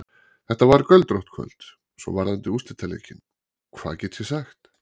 Þetta var göldrótt kvöld, Svo varðandi úrslitaleikinn, hvað get ég sagt?